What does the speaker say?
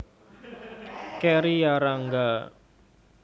Kerry Yarangga